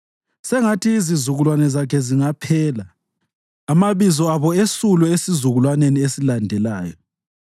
Sengathi izizukulwane zakhe zingaphela, amabizo abo esulwe esizukulwaneni esilandelayo.